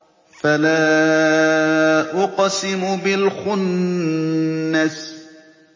فَلَا أُقْسِمُ بِالْخُنَّسِ